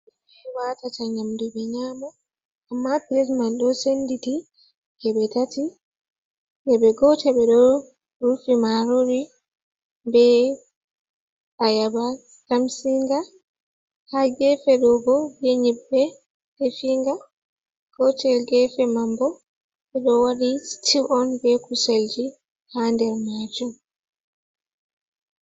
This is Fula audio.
Ɓe watata nyamdu ɓe nyamo amma plet man do senditi geɓe tati geɓe gotel ɓe ɗo rufi marori be Ayaba tamsinga ha gefe ɗo bo be nyebbe definga gotel gefe manbo ɓe ɗo wadi stiw on be kuselji ha nder majum.